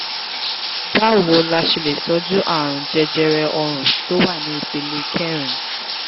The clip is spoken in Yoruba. báwo la ṣe lè tọjú àrùn jẹjẹrẹ ọrùn tó wà ní ìpele kẹrin?